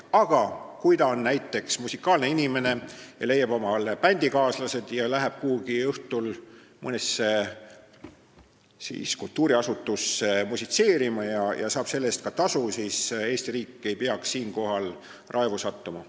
Aga kui tegu on näiteks muusikuga, kes leiab omale bändikaaslased ja läheb õhtul mõnesse kultuuriasutusse musitseerima ja saab selle eest ka tasu, siis Eesti riik ei peaks selle peale raevu sattuma.